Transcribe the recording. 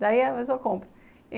Daí a pessoa compra.